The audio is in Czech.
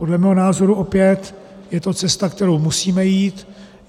Podle mého názoru opět je to cesta, kterou musíme jít.